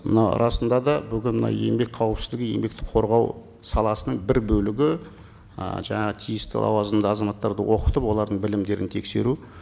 мынау расында да бүгін мынау еңбек қауіпсіздігі еңбекті қорғау саласының бір бөлігі ы жаңағы тиісті лауазымды азаматтарды оқытып олардың білімдерін тексеру